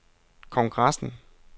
kongressen